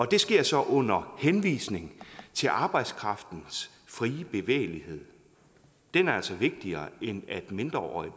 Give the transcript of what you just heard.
det sker så under henvisning til arbejdskraftens frie bevægelighed den er altså vigtigere end at mindreårige